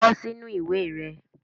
Kọ sinu iwe rẹ